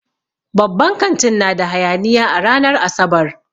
Babban kantin na da hayaniya a ranar Asabar.